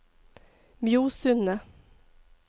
Mjosundet